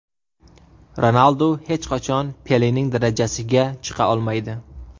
Ronaldu hech qachon Pelening darajasiga chiqa olmaydi.